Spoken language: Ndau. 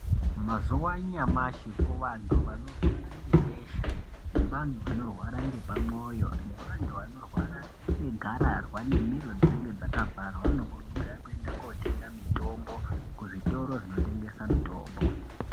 Mumazuwa anyamashi kuvantu vanorwara ngebesha nevantu vanorwara ngepamwoyo nevanhu vanorwara ngegararwa nemiro dzinenge dzakavharwa vanokurudzirwa kuenda kotenga mitombo kuzvitoro zvinotengesa mitombo.